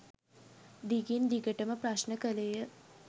දිගින් දිගටම ප්‍රශ්න කළේය.